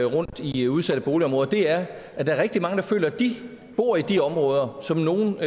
rundtom i udsatte boligområder er at der er rigtig mange der føler at de bor i de områder som nogle